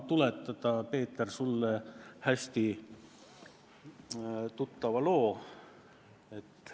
Tuletan, Peeter, sulle meelde hästi tuttava loo.